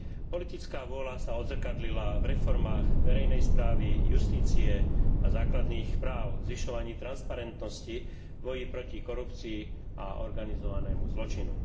Politická vôľa sa odzrkadlila v reformách verejnej správy, justície a základných práv, zvyšovaní transparentnosti, v boji proti korupcii a organizovanému zločinu.